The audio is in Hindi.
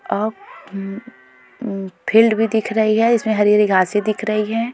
और फील्ड भी दिख रही है इसमें हरी-हरी घांसी दिख रही है।